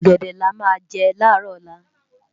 Esó ògèdè lá má jè lárò òlá